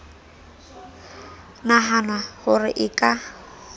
nahanwa ho re e ka